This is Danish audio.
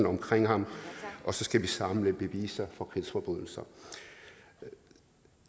omkring ham og så skal vi samle beviser for krigsforbrydelser